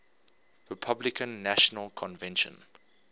republican national convention